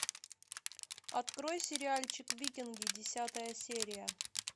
открой сериальчик викинги десятая серия